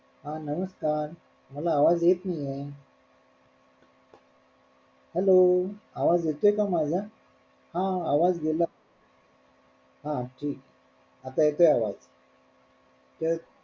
हा नमस्कार मला आवाज येत नाहीये hello आवाज येतोय का माझा? हा आवाज गेला हा ठीके आता येतोय आवाज तर,